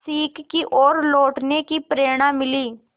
सीख की ओर लौटने की प्रेरणा मिली